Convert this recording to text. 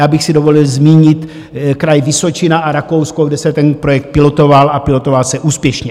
Já bych si dovolil zmínit kraj Vysočina a Rakousko, kde se ten projekt pilotoval a pilotoval se úspěšně.